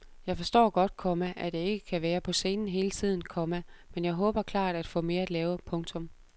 Jeg forstår godt, komma at jeg ikke kan være på scenen hele tiden, komma men jeg håber klart at få mere at lave. punktum